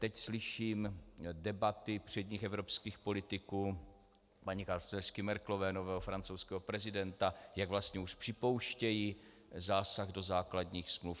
Teď slyším debaty předních evropských politiků, paní kancléřky Merkelové, nového francouzského prezidenta, jak vlastně už připouštějí zásah do základních smluv.